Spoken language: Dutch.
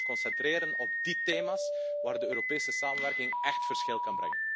Wij moeten ons concentreren op die thema's waar de Europese samenwerking echt verschil een kan maken.